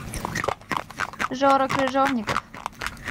жора крыжовников